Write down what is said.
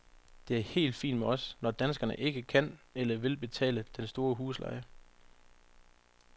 Det er helt fint med os, når danskerne ikke kan eller vil betale den store husleje.